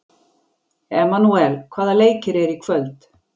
Emanúel, hvaða leikir eru í kvöld?